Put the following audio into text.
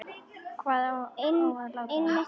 Hvar á að láta hann?